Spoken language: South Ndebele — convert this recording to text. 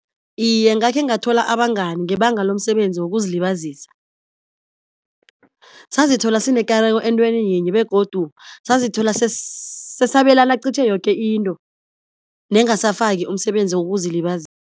Iye ngakhe ngathola abangani ngebanga lomsebenzi wokuzilibazisa, sazithola sinekareko entweni yinye begodu sazithola sesabelana qitjhe yoke into nengasafaki umsebenzi